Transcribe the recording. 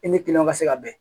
I ni kiliyanw ka se ka bɛn